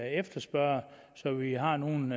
efterspørger så vi har nogle